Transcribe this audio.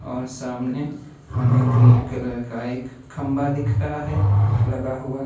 और सामने हमें ग्रीन कलर का एक खंभा दिख रहा है लगा हुआ।